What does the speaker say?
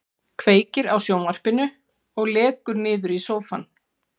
Kveikir á sjónvarpinu og lekur niður í sófann.